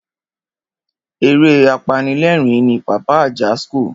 Eré apanilerin ni Pàpá Ajasco.